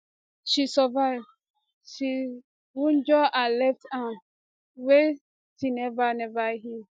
she survive she wunjure her left arm wey still neva neva heal